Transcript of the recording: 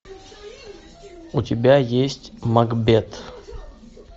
у тебя есть макбет